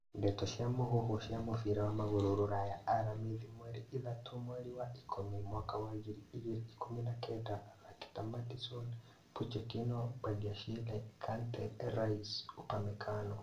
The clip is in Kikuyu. Ndeto cia mũhuhu cia mũbira wa magũrũ Rũraya aramithi mweri ithatũ mweri wa ikũmi mwaka wa ngiri igĩrĩ ikũmi na kenda athaki ta Maddison, Pochettino, Badiashile, Kante, Rice, Upamecano